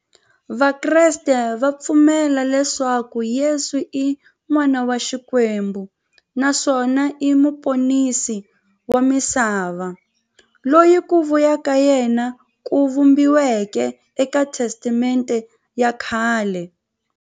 Vakreste va pfumela leswaku Yesu i n'wana wa Xikwembu naswona i muponisi wa misava, loyi ku vuya ka yena ku vhumbiweke e ka Testamente ya khale.